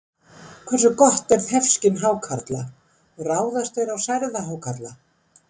Hversu gott er þefskyn hákarla og ráðast þeir á særða hákarla?